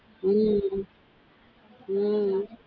உம் உம்